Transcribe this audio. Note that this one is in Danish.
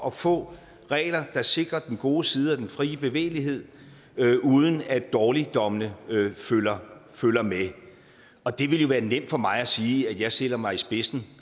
at få regler der sikrer de gode sider af den frie bevægelighed uden at dårligdommene følger følger med og det ville jo være nemt for mig at sige at jeg stiller mig i spidsen